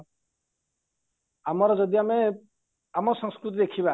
ଆମର ଯଦି ଆମେ ଆମ ସଂସ୍କୃତି ଦେଖିବା